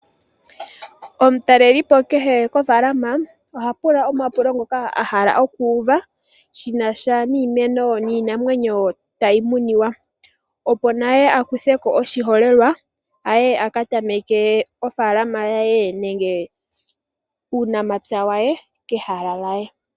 Omutalelipo kehe kofaalama oha pula omapulo ngoka ahala okuuva shinasha niimeno, niinamwenyo tayi muniwa, opo naye akutheko oshiholelwa aye aka tameke oofaalama yaye nenge uunamapya waye kehala lyaye.